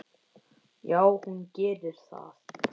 Já, hún gerir það.